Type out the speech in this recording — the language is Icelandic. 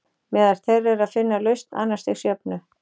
Meðal þeirra er að finna lausn annars stigs jöfnu.